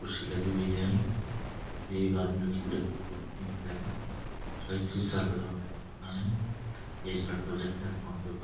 कुर्सी लगी हुई है ये एक आदमी उसका एक शीशा लगा हुआ है पता नहीं एक लड़का बैठा है फोन पर बात --